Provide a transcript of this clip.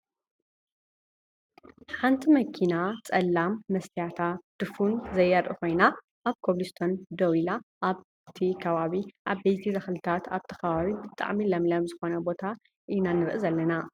ሓንቲ መኪና ፀላም መስትያታ ድፉን ዘየርኢ ኮይና ኣብ ኮብልስቶን ደው ኢላ ኣብቲ ከባቢ ዓበይቲ ተክልታት ኣብቲ ከባቢ ብጣዕሚ ለምለም ዝኮነ ቦታ ኢና ንርኢ ዘለና ።